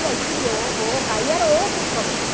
E aí criou aí era outro problema.